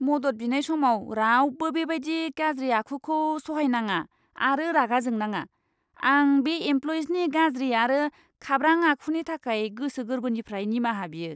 मदद बिनाय समाव रावबो बेबायदि गाज्रि आखुखौ सहायनाङा आरो रागा जोंनाङा। आं बे एमप्ल'इनि गाज्रि आरो खाब्रां आखुनि थाखाय गोसो गोरबोनिफ्राय निमाहा बियो!